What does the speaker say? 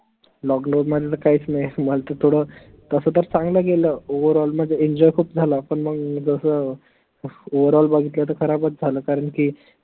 lockdown म्हनलं काहीच नाई मल त थोडं तस तर चांगलं गेलं overall म्हनजे enjoy खूप झाला पन मंग जस overall बघतलं तर खराबच झालं कारन की